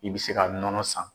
I bɛ se ka nɔnɔ san.